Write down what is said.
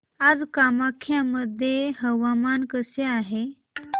आज कामाख्या मध्ये हवामान कसे आहे